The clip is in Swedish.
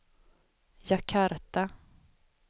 Jakarta